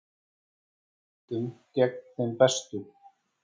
Í úrslitum gegn þeim bestu